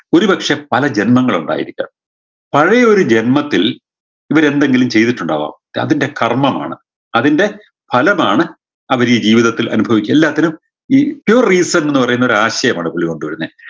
ഒരുപക്ഷേ പല ജന്മങ്ങളുണ്ടായിരിക്കാം പഴെയൊരു ജന്മത്തിൽ ഇവരെന്തെങ്കിലും ചെയ്തിട്ടുണ്ടാവാം ഇതതിൻറെ കർമ്മമാണ് അതിൻറെ ഫലമാണ് അവരീ ജീവിതത്തിൽ അനുഭവി എല്ലാത്തിനും ഈ pure reason ന്ന് പറയുന്നൊരു ആശയമാണ് പുള്ളി കൊണ്ട് വരുന്നേ